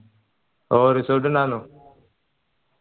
ഓ resort ഇണ്ടായിരുന്നു